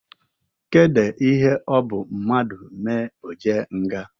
Kede ihe ọ bụ mmadụ mee o jee nga?